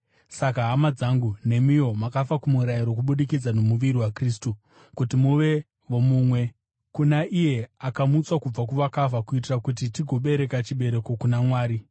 Saka, hama dzangu, nemiwo makafa kumurayiro kubudikidza nomuviri waKristu, kuti muve vomumwe, kuna iye akamutswa kubva kuvakafa, kuitira kuti tigobereka chibereko kuna Mwari.